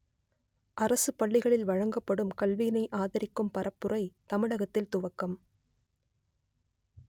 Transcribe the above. அரசுப் பள்ளிகளில் வழங்கப்படும் கல்வியினை ஆதரிக்கும் பரப்புரை தமிழகத்தில் துவக்கம்